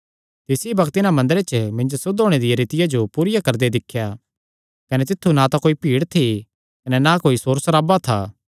तिसी बग्त इन्हां मंदरे च मिन्जो सुद्ध होणे दिया रीतिया जो पूरिया करदे दिख्या कने तित्थु ना तां कोई भीड़ थी ना कोई सोर सराबा था